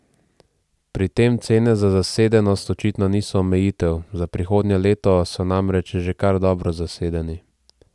Pri tem cene za zasedenost očitno niso omejitev, za prihodnje leto so namreč že kar dobro zasedeni.